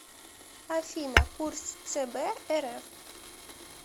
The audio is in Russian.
афина курс цб рф